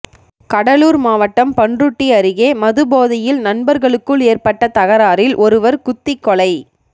கடலூர் மாவட்டம் பண்ருட்டி அருகே மதுபோதையில் நண்பர்களுக்குள் ஏற்பட்ட தகராறில் ஒருவர் குத்திக்கொலை